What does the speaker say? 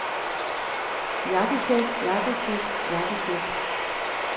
jakkesæt jakkesæt jakkesæt